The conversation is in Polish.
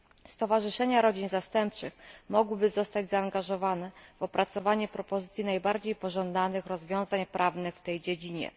Stowarzyszenia rodzin zastępczych mogłyby zostać zaangażowane w opracowanie propozycji najbardziej pożądanych rozwiązań prawnych w tej dziedzinie.